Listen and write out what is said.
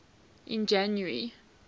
in january